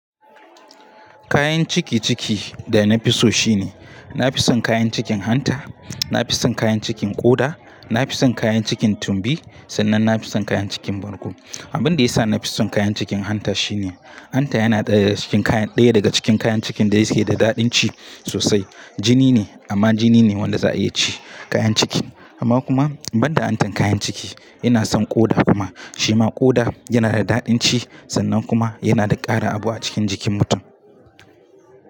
Kayanci da nafiso shine nafison kayan cikin hanta nafison kayan cikin ƙoda nafison kayan cikin tumbi sannan nafison kayan cikin ɓargo. Abinda ya sa na fi son kayan cikin hanta shine, hanta yana ɗaya daga cikin kayan ɗaya daga cikin kayan cikin da yake da daɗin ci sosai. Jini ne amma jini ne wanda za a iya ci kayan cikin. Amma kuma banda hantan kayan ciki ina son ƙoda kuma. Shi ma ƙoda yana da daɗin ci sannan kuma yana da ƙara abu a cikin jikin mutum.